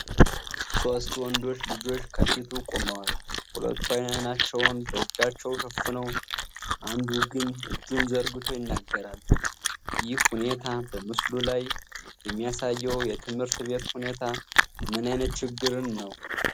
ሦስት ወንዶች ልጆች ከፊቱ ቆመዋል፤ ሁለቱ ዓይናቸውን በእጃቸው ሸፍነው፣ አንዱ ግን እጁን ዘርግቶ ይናገራል። ይህ ሁኔታ በምስሉ ላይ የሚያሳየው የትምህርት ቤት ሁኔታ ምን ዓይነት ችግርን ነው?